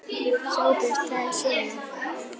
SOPHUS: Það er nú svona.